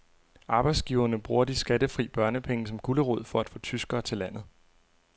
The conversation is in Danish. Arbejdsgiverne bruger de skattefri børnepenge som gulerod for at få tyskere til landet.